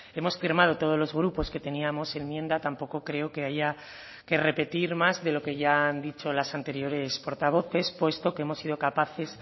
hemos firmado todos los grupos que teníamos enmienda tampoco creo que haya que repetir más de lo que ya han dicho las anteriores portavoces puesto que hemos sido capaces